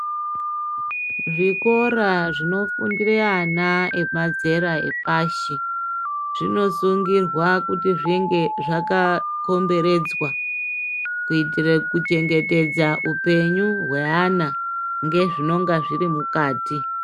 Zvikora zvinofundire ana emazera epashi zvinosuugirwa kuti zvinge zvakakomberedzwa kuitire kuchengetedza upenyu hweana ngezvinonga zviri mukati.